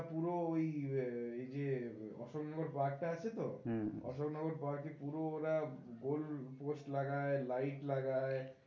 পুরো ওই এই যে অশোক নগর পার্ক টা আছে তো, অশোক নগর পার্কে পুরো ওরা, গোল পোস্ট লাগায় লাইট লাগায়